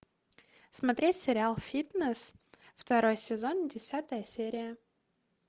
смотреть сериал фитнес второй сезон десятая серия